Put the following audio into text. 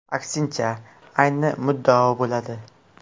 Aksincha, ayni muddao bo‘ladi.